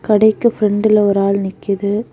கடைக்கு பிரெண்ட்டுல ஒரு ஆள் நிக்குது.